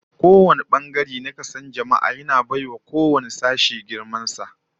Kowane bangare na kason jama'a, yana bai wa sauran sashen girman sa